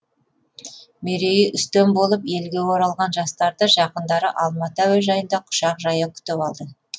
мерейі үстем болып елге оралған жастарды жақындары алматы әуежайында құшақ жая күтіп алды